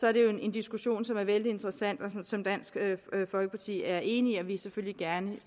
er det jo en diskussion som er vældig interessant og som dansk folkeparti er enig og vi selvfølgelig gerne